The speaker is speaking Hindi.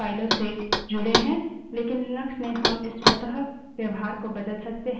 हमने देखा कि स्वतः से 3 streams कुछ फाइलों से जुड़ें हैं